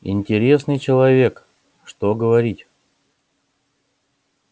интересный человек что говорить